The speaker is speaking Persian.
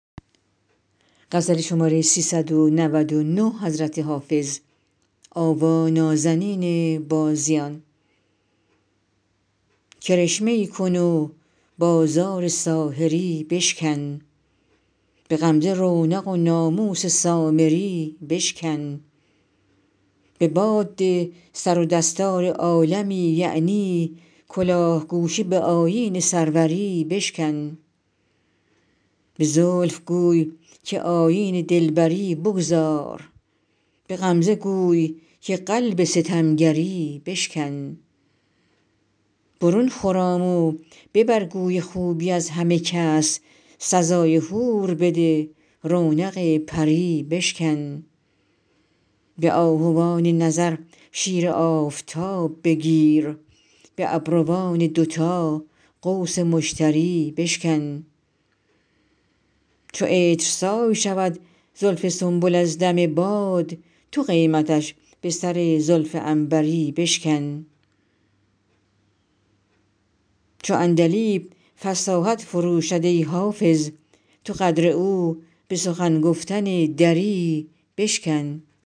کرشمه ای کن و بازار ساحری بشکن به غمزه رونق و ناموس سامری بشکن به باد ده سر و دستار عالمی یعنی کلاه گوشه به آیین سروری بشکن به زلف گوی که آیین دلبری بگذار به غمزه گوی که قلب ستمگری بشکن برون خرام و ببر گوی خوبی از همه کس سزای حور بده رونق پری بشکن به آهوان نظر شیر آفتاب بگیر به ابروان دوتا قوس مشتری بشکن چو عطرسای شود زلف سنبل از دم باد تو قیمتش به سر زلف عنبری بشکن چو عندلیب فصاحت فروشد ای حافظ تو قدر او به سخن گفتن دری بشکن